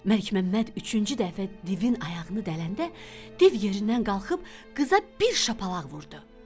Məlikməmməd üçüncü dəfə divin ayağını dələndə, div yerindən qalxıb qıza bir şapalaq vurdu.